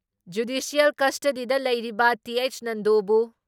judicial ꯀꯁꯇꯗꯤꯗ ꯂꯩꯔꯤꯕ T H ꯅꯟꯗꯣꯕꯨ